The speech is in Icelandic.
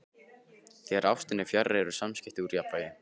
Þegar ástin er fjarri eru samskiptin úr jafnvægi.